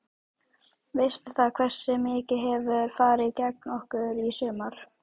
Veistu það, hversu mikið hefur farið gegn okkur í sumar?